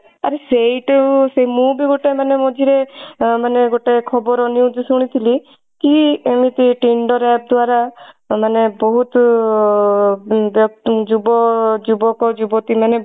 ଆରେ ସେଇଠୁ ମୁଁ ବି ଗୋଟେ ମାନେ ମଝିରେ ମାନେ ଗୋଟେ ଖବର news ଶୁଣିଥିଲି କି ଏମିତି tinder app ଦ୍ବାରା ମାନେ ବହୁତ ବ୍ୟକ୍ତି ଯୁବ ଯୁବକ ଯୁବତୀ ମାନେ